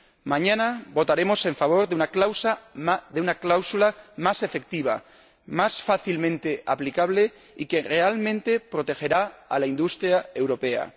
Mañana votaremos en favor de una cláusula más efectiva, más fácilmente aplicable y que realmente protegerá a la industria europea.